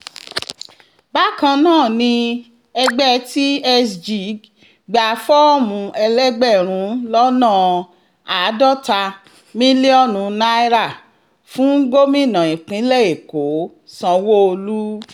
bákan náà ni ẹgbẹ́ tsg gba fọ́ọ̀mù elégbè̩rùn lọ́nà àádọ́ta mílíònù naira fún gómìnà ìpínlẹ̀ èkó sanwó-olu